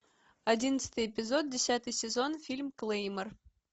одиннадцатый эпизод десятый сезон фильм клеймор